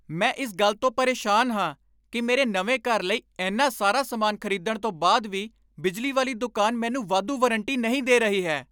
ਮੈਂ ਇਸ ਗੱਲ ਤੋਂ ਪਰੇਸ਼ਾਨ ਹਾਂ ਕਿ ਮੇਰੇ ਨਵੇਂ ਘਰ ਲਈ ਇੰਨਾ ਸਾਰਾ ਸਮਾਨ ਖਰੀਦਣ ਤੋਂ ਬਾਅਦ ਵੀ ਬਿਜਲੀ ਵਾਲੀ ਦੁਕਾਨ ਮੈਨੂੰ ਵਾਧੂ ਵਾਰੰਟੀ ਨਹੀਂ ਦੇ ਰਹੀ ਹੈ।